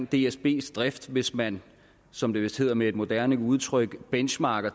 dsbs drift hvis man som det vist hedder med et moderne udtryk benchmarker